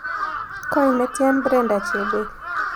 Koi netian Brenda chebet